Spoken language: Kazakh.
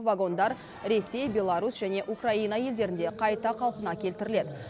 вагондар ресей беларусь және украина елдерінде қайта қалпына келтіріледі